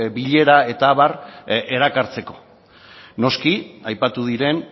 bilera eta abar erakartzeko noski aipatu diren